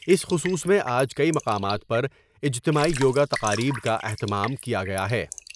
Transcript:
اس خصوص میں آج کئی مقامات پر اجتماعی یوگا تقاریب کا اہتمام کیا گیا ہے ۔